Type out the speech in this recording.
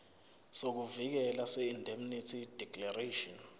sokuvikeleka seindemnity declaration